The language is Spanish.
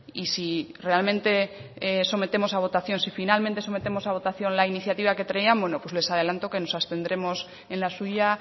y si realmente sometemos a votación si finalmente sometemos a votación la iniciativa que traían bueno pues les adelanto que nos abstendremos en la suya